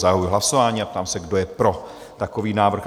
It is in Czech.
Zahajuji hlasování a ptám se, kdo je pro takový návrh?